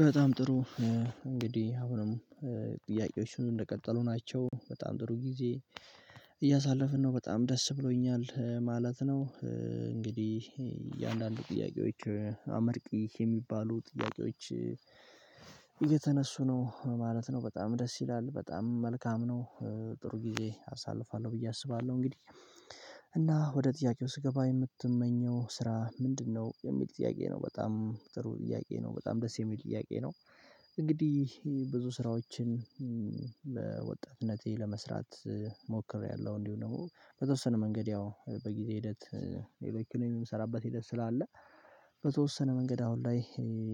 በጣም ጥሩ እንግዲህ አሁንም ጥያቄዎቹን እንደቀጠሉ ናቸው በጣም ጥሩ ጊዜ እያሳለፍን ነው በጣም ደስ ብሎኛል ማለት ነው። እንግዲህ የአንዳንድ ጥያቄዎች አመርቂ የሚባሉ ጥያቄዎች። እየተነሱ ነው ማለት ነው በጣም ደስ ይላል በጣም መልካም ነው ጥሩ ጊዜ አሳልፋለሁ ብዬ አስባለሁ። እንግዲህ እና ወደ ጥያቄው ስገባ የምትመኘው ስራ ምንድነው? የሚል ጥያቄ ነው በጣም ጥሩ ጥያቄ ነው በጣም ደስ የሚል ጥያቄ ነው። እንግዲህ ብዙ ስራዎችን በወጣትነቴ ለመስራት ሞክሬያለሁ። እንዲሁ ነው በተወሰነ መንገድ ያው በጊዜ ሂደት የሚሰራበት ሂደት ስላለ በተወሰነ መንገድ አሁን ላይ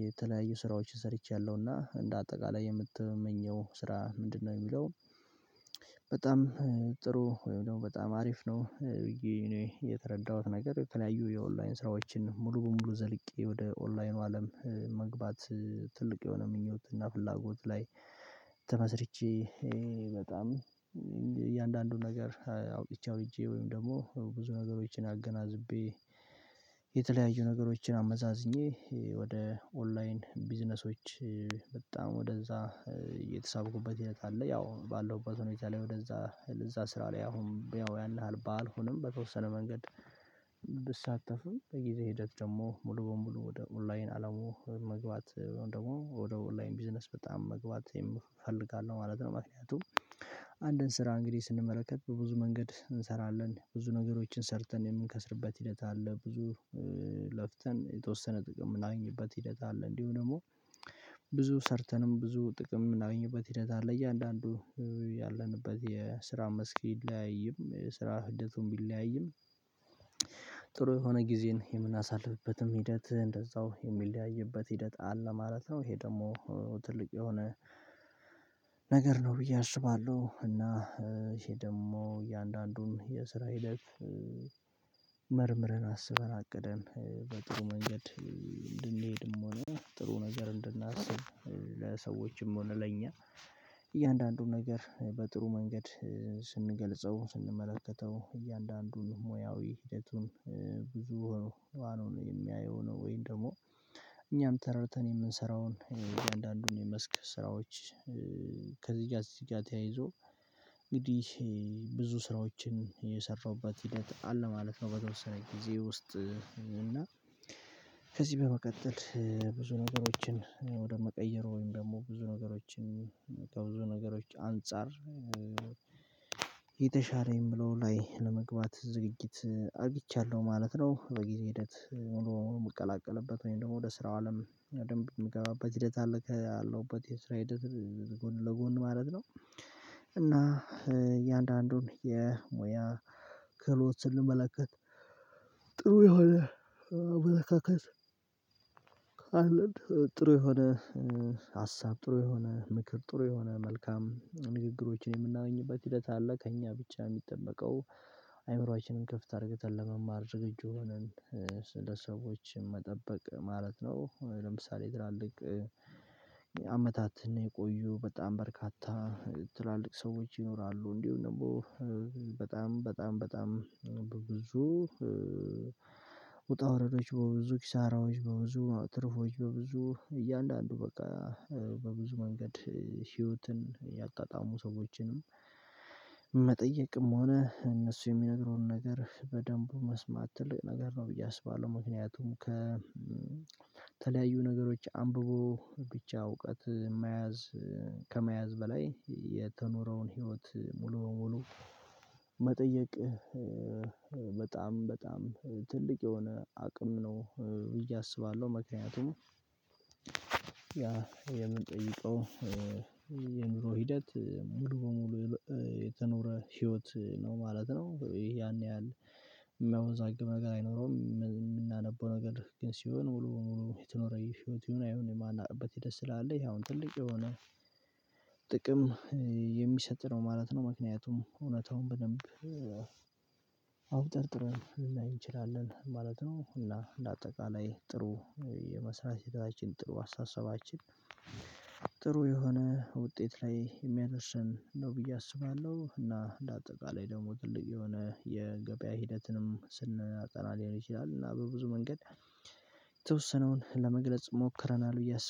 የተለያዩ ስራዎችን ሰርቻለሁና። እንደ አጠቃላይ የምትመኘው ስራ ምንድነው? የሚለውን በጣም ጥሩ ወይም ደግሞ በጣም አሪፍ ነው ብዬ እኔ የተረዳሁት ነገር የተናዩ የኦንላይን ስራዎችን ሙሉ በሙሉ ዘልቄ ወደ ኦንላይኑ አለም መግባት። ትልቅ የሆነ ምኞት እና ፍላጎት ላይ ተመስርቼ በጣም እያንዳንዱ ነገር አውጥቼ አውርጀ ወይም ደግሞ ብዙ ነገሮችን አገናዝቤ። የተለያዩ ነገሮችን አመዛዝኜ ወደ ኦንላይን ቢዝነሶች በጣም ወደዛ እየተሳበኩበት ሂደት አለ ያው ባለሁበት ሆኖ እዛ ላይ ወደዛ ለዛ ስራ ላይ አሁን ያው ያህል ባልሆንም በተወሰነ መንገድ። ብሳተፉም በጊዜ ሂደት ደግሞ ሙሉ በሙሉ ወደ ኦንላይን አለሙ መግባት ደግሞ ወደ ኦንላይን ቢዝነስ በጣም መግባት እፈልጋለሁ ማለት ነው። ምክንያቱም አንድን ስራ እንግዲህ ስንመለከት በብዙ መንገድ እንሰራለን ብዙ ነገሮችን ሰርተን የምንከስርበት ሂደት አለ። ብዙ ለፍተን የተወሰነ ጥቅም የምናገኝበት ሂደት አለ። እንዲሁ ደግሞ ብዙ ሰርተንም ብዙ ጥቅም የምናገኝበት ሂደት አለ። እያንዳንዱ ያለንበት የስራ መስክ ይለያይም የስራ ህደቱም ቢለያይም ጥሩ የሆነ ጊዜን የምናሳልፍበትም ሂደት እንደዛው የሚለያይበት ሂደት አለ ማለት ነው። ይሄ ደግሞ ትልቅ የሆነ ነገር ነው ብዬ አስባለሁ። እና ይሄ ደግሞ እያንዳንዱን የስራ ሂደት። መርምረን አስበን አቅደን በጥሩ መንገድ እንድንሄድም ሆነ ጥሩ ነገር እንድናስብ ለሰዎችም ሆነ ለኛ። እያንዳንዱ ነገር በጥሩ መንገድ ስንገልጸው ስንመለከተው እያንዳንዱን ሙያዊ ሂደቱን። ብዙ ዋናው ነው የሚያየው ወይንም ደግሞ እኛም ተረተን የምንሰራውን እያንዳንዱን የመስክ ስራዎች። ከዚህ ጋር እዚህ ጋር ተያይዞ እንግዲህ ብዙ ስራዎችን የሰራሁበት ሂደት አለ ማለት ነው። በተወሰነ ጊዜ ውስጥ እና ከዚህ በመቀጠል ብዙ ነገሮችን ወደ መቀየሩ ወይም ደግሞ ብዙ ነገሮችን ከብዙ ነገሮች አንፃር የተሻለኝ ብለው ላይ ለመግባት ዝግጅት አርጅቻለሁ ማለት ነው። በጊዜ ሂደት ሙሉ ሙቀላቀልበት ወይም ደግሞ ወደ ስራው አለም በደንብ የምገባበት ሂደት አለ ካለውበት የስራ ሂደት ጎን ለጎን ማለት ነው። እና እያንዳንዱን የሙያ ክህሎት ስንመለከት ጥሩ የሆነ አመለካከት ጥሩ የሆነ ሀሳብ ጥሩ የሆነ ምክር ጥሩ የሆነ መልካም ንግግሮችን የምናገኝበት ሂደት አለ። ከእኛ ብቻ የሚጠበቀው አይምሮአችንን ክፍት አድርገታል ለመማር ዝግጁ ሆነን ስንደሰቦችን መጠበቅ ማለት ነው። ለምሳሌ ትላልቅ አመታትን የቆዩ በጣም በርካታ ትላልቅ ሰዎች ይኖራሉ እንዲሁ ደግሞ በጣም በጣም በጣም ብዙ ውጣ ውረዶች በብዙ ኪሳራዎች በብዙ ትርፎች በብዙ እያንዳንዱ በቃ በብዙ መንገድ ህይወትን ያጣጣሙ ሰዎችንም መጠየቅም ሆነ እነሱ የሚነግረውን ነገር በደንቡ መስማት ትልቅ ነገር ነው ብዬ አስባለሁ። ምክንያቱም ከተለያዩ ነገሮች አንብቦ ብቻ እውቀት መያዝ ከመያዝ በላይ የተኖረውን ህይወት ሙሉ በሙሉ መጠየቅ በጣም በጣም ትልቅ የሆነ አቅም ነው። እያሰባለሁ ምክንያቱም ያ የምንጠይቀው የኑሮ ሂደት ሙሉ በሙሉ የተኖረ ህይወት ነው ማለት ነው። ያን ያህል የሚያወዛግብ ነገር አይኖረውም። የምናነበው ነገር ግን ሲሆን ሙሉ ሙሉ የተኖረው ህይወት ይሁን የማናውቀው ደስ ስላለ ይሄ አሁን ትልቅ የሆነ ጥቅም የሚሰጥ ነው ማለት ነው። ምክንያቱም እውነታውን በደንብ አብጠርጥሮ ላያይ እንችላለን ማለት ነው። ሁላ ለአጠቃላይ ጥሩ የመሰረታችን ጥሩ አስተሳሰባችን ጥሩ የሆነ ውጤት ላይ የሚያደርሰን ነው ብዬ አስባለሁ። እና ለአጠቃላይ ደግሞ ትልቅ የሆነ የገበያ ሂደትንም ስንናጠና ሊሆን ይችላል እና በብዙ መንገድ የተወሰነውን ለመግለጽ ሞክረናል። እያሰበ